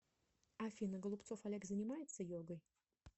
афина голубцов олег занимается йогой